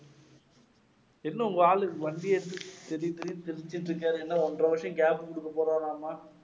என்ன உங்க ஆளு வண்டி எடுத்துட்டு தெறி தெறின்னு தெறிச்சிண்டிருக்காரு என்ன ஒன்றரை வருஷம் gap குடுக்க போறாராமா?